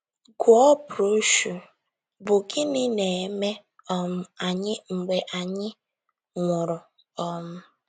Gụọ broshuọ bụ́ Gịnị Na - eme um Anyị Mgbe Anyị Nwụrụ? um